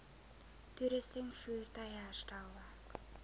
toerusting voertuie herstelwerk